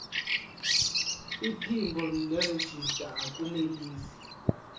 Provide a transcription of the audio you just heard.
iphimbo nerejista akunelisi